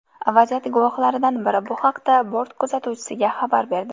Vaziyat guvohlaridan biri bu haqda bort kuzatuvchisiga xabar berdi.